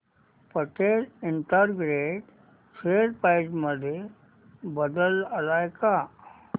Patel integrate share price मध्ये बदल आलाय का